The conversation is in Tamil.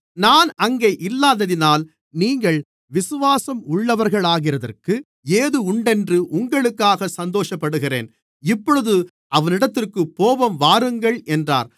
நான் அங்கே இல்லாததினால் நீங்கள் விசுவாசம் உள்ளவர்களாகிறதற்கு ஏதுவுண்டென்று உங்களுக்காக சந்தோஷப்படுகிறேன் இப்பொழுது அவனிடத்திற்குப் போவோம் வாருங்கள் என்றார்